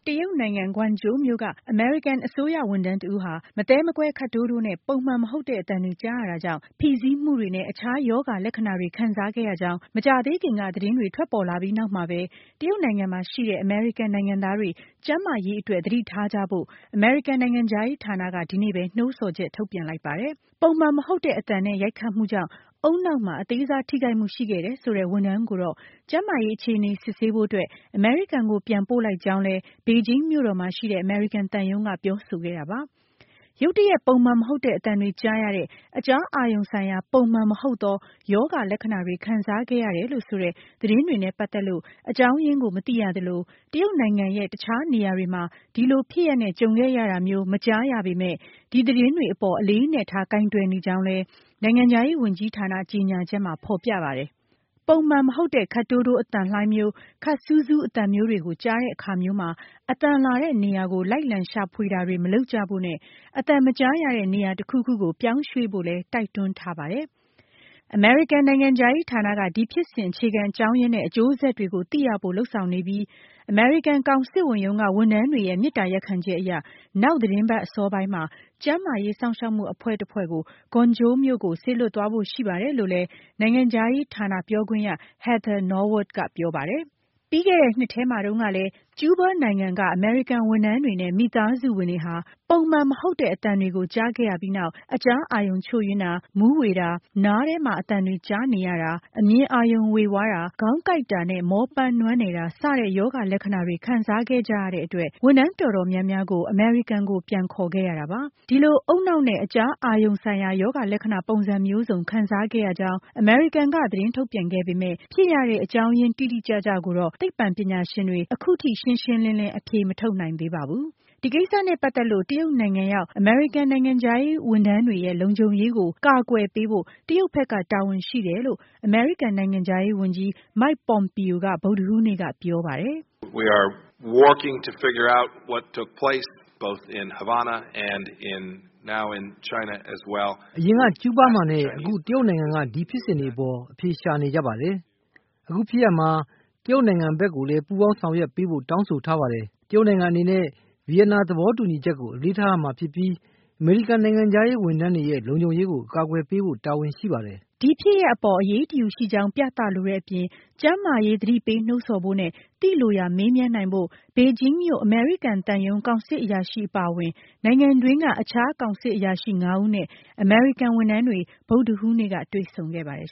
တရုတ်နိုင်ငံ Guangzhou မြို့က အမေရိကန်အစိုးရ ဝန်ထမ်းတဦးဟာ မသဲမကွဲ ခပ်တိုးတိုးနဲ့ ပုံမှန်မဟုတ်တဲ့ အသံတွေ ကြားရတာကြောင့် ဖိစီးမှုတွေနဲ့ အခြားရောဂါလက္ခဏာတွေ ခံစားခဲ့ရကြောင်း မကြာသေးခင်က သတင်းတွေ ထွက်ပေါ်ခဲ့ပြီး နောက်မှာပဲ၊ တရုတ်နိုင်ငံမှာရှိတဲ့ အမေရိကန် နိုင်ငံသားတွေ ကျန်းမာရေးအတွက် သတိထားကြဖို့ အမေရိကန်နိုင်ငံခြားရေးဌာနက မနေ့ကပဲ နှိုးဆော်ချက် ထုတ်ပြန်လိုက်ပါတယ်။ ပုံမှန်မဟုတ်တဲ့ အသံနဲ့ ရိုက်ခတ်မှုကြောင့် ဦးနှောက်မှာ အသေးစားထိခိုက်မှု ရှိခဲ့တယ်ဆိုတဲ့ ဝန်ထမ်းကိုတော့ ကျန်းမာရေး အခြေအနေ စစ်ဆေးဖို့အတွက် အမေရိကန်ကို ပြန်ပို့လိုက်ကြောင်းလည်း ဘေဂျင်းမြို့တော်မှာရှိတဲ့ အမေရိကန်သံရုံးက ပြောဆိုခဲ့တာပါ။ ရုတ်တရက် ပုံမှန်မဟုတ်တဲ့ အသံတွေကြားရတဲ့ အကြားအာရုံဆိုင်ရာ ပုံမှန်မဟုတ်သော ရောဂါလက္ခဏာ တွေ ခံစားခဲ့ရတယ်လို့ဆိုတဲ့ သတင်းတွေနဲ့ ပတ်သက်လို့ အကြောင်းရင်းကို မသိရသလို၊ တရုတ်နိုင်ငံရဲ့ တခြားနေရာတွေမှာ ဒီလိုဖြစ်ရပ်နဲ့ ကြုံခဲ့ရတာမျိုး မကြားရပေမဲ့ ဒီသတင်းတွေအပေါ် အလေးအနက်ထား ကိုင်တွယ်နေကြောင်းလည်း နိုင်ငံခြားရေးဝန်ကြီးဌာန ကြေညာချက်မှာ ဖော်ပြထားပါတယ်။ ပုံမှန်မဟုတ်တဲ့ ခပ်တိုးတိုး အသံလှိုင်းမျိုး၊ ခပ်စူးစူးအသံမျိုးတွေကို ကြားတဲ့အခါမျိုးမှာ အသံလာတဲ့နေရာကို လိုက်လံရှာဖွေတာတွေ မလုပ်ကြဖို့နဲ့ အသံမကြားရတဲ့ နေရာတခုခုကို ပြောင်းရွှေ့ဖို့လည်း တိုက်တွန်းထားတာပါ။ အမေရိကန် နိုင်ငံခြားရေးဌာနက ဒီဖြစ်စဉ် အခြေခံအကြောင်းရင်း နဲ့ အကျိုးဆက်တွေကို သိရဖို့ လုပ်ဆောင် နေပြီး အမေရိကန်ကောင်စစ်ဝန်ရုံးက ဝန်ထမ်းတွေရဲ့ မေတ္တာရပ်ခံချက်အရ နောက်သီတင်းပတ်အစောပိုင်းမှာ ကျန်းမာရေးစောင့်ရှောက်မှှု အဖွဲ့တဖွဲ့ကို Guangzhou မြို့ကို စေလွှတ်သွားဖို့ရှိပါတယ်လို့လည်း နိုင်ငံခြားရေးဌာနပြောခွင့်ရ Heather Nauert ကပြောပါတယ်၊၊ ပြီးခဲ့တဲ့နှစ်ထဲမှာတုန်းကလည်း ကျုးဘားနိုင်ငံက အမေရိကန် ဝန်ထမ်းတွေနဲ့ မိသားစုဝင်တွေဟာ ပုံမှန်မဟုတ်တဲ့ အသံတွေကို ကြားခဲ့ရပြီးနောက် အကြားအာရုံချို့ယွင်းတာ၊ မူးဝေတာ၊ နားထဲမှာ အသံတွေ ကြားနေရတာ၊ အမြင်အာရုံေ၀ဝါးတာ၊ ခေါင်းကိုက်တာ နဲ့ မောပန်းနွမ်းနယ်တာ စတဲ့ရောဂါလက္ခဏာတွေခံစားခဲ့ကြရတဲ့အတွက် ဝန်ထမ်းတော်တော်များများကို အမေရိကန်ကို ပြန်ခေါ်ခဲ့ရတာပါ၊၊ ဒီလို ဦးနှောက်နဲ့ အကြားအာရုံဆိုင်ရာ ရောဂါလက္ခဏာ ပုံစံမျိုးစုံ ခံစားခဲ့ရကြောင်း အမေရိကန်က သတင်းထုတ်ပြန်ခဲ့ပေမဲ့၊ ဖြစ်ရတဲ့ အကြောင်းရင်း တိတိကျကျကိုတော့ သိပ္ပံပညာရှင်တွေ အခုအထိ ရှင်းရှင်းလင်းလင်း အဖြေမထုတ်နိုင်သေးပါဘူး။ ဒီကိစ္စနဲ့ ပတ်သက်လို့ တရုတ်နိုင်ငံရောက်အမေရိကန်နိုင်ငံခြားရေးဝန်ထမ်းတွေရဲ့ လုံခြုံရေးကို ကာကွယ်ပေးဖို့ တရုတ်ဘက်က တာဝန်ရှိတယ်လို့ အမေရိကန်နိုင်ငံခြားရေးဝန်ကြီး Mike Pompeo က ဗုဒ္ဓဟူးနေ့ ကပြောပါတယ်၊၊ "အရင် က ကျုးဘားမှာနဲ့ အခု တရုတ်နိုင်ငံက ဒီဖြစ်စဉ်တွေအပေါ် အဖြေရှာနေကြပါတယ်၊၊ အခုဖြစ်ရပ်မှာတရုတ်နိုင်ငံဘက်ကိုလည်း ပူးပေါင်းဆောင်ရွက်ပေးဖို့ တောင်းဆိုထားပါတယ်၊၊ တရုတ်နိုင်ငံအနေနဲ့ Vienna သဘောတူညီချက် ကိုအလေးထားရမှာဖြစ်ပြီး အမေရိကန်နိုင်ငံခြားရေးဝန်ထမ်းတွေရဲ့ လုံခြုံရေးကို ကာကွယ်ပေးဖို့ တာဝန်ရှိပါတယ်၊၊" ဒီဖြစ်ရပ်အပေါ် အရေးတယူရှိကြောင်းပြသလိုတဲ့ အပြင် ကျန်းမာရေးသတိပေးနှိုးဆော်ဖို့နဲ့ သိလိုရာမေးမြန်းနိုင်ဖို့ Beijing မြို့ အမေရိကန်သံရုံးကောင်စစ်အရာရှိအပါအဝင် နိုင်ငံတွင်းက အခြား ကောင်စစ်အရာရှိ ၅ ဦးနဲ့ အမေရိကန်ဝန်ထမ်းတွေ ဗုဒ္ဓဟူးနေ့က တွေ့ဆုံခဲ့ပါတယ်